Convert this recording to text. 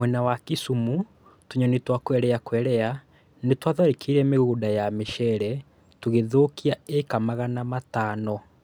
Mwena wa Kisumu, tũnyoni twa Quelea Quelea nĩtwatharĩkĩire mĩgũnda ya mũcere tũgithũkia ĩĩka magana matano